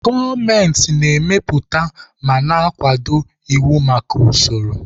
Gọọmenti na-emepụta ma na-akwado iwu maka usoro.